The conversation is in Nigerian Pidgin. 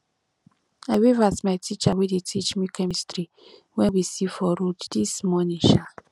i wave at my teacher wey dey teach me chemistry wen we see for road dis morning um